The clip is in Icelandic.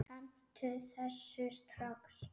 Hentu þessu strax!